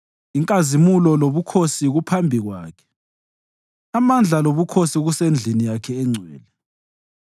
Inkazimulo lobukhosi kuphambi Kwakhe; amandla lobukhosi kusendlini yakhe engcwele.